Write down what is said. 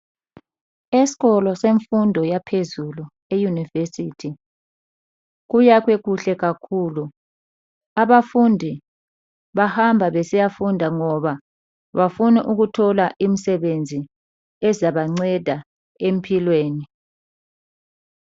Esikolo semfundo yaphezulu e yunivesithi kuyakhwe kuhle kakhulu abafundi bahamba besiyafunda ngoba bafuna ukuthola imsebenzi ezabanceda empilweni.